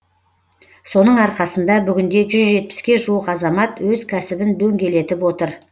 соның арқасында бүгінде жүз жетпіске жуық азамат өз кәсібін дөңгелетіп отыр